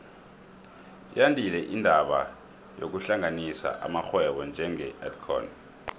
yandile indaba yokuhlanganisa amarhwebo njenge edcon